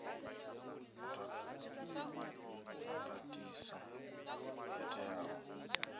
u ta ndatiso yo teaho